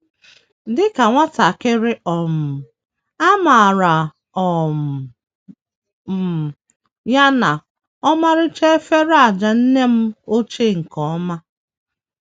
Dị ka nwatakịrị, um amaara um m ya na ọmarịcha efere ájá nne m ochie nke ọma.